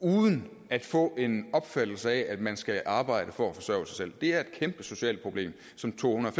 uden at få en opfattelse af at man skal arbejde for at forsørge sig selv det er et kæmpe socialt problem som to hundrede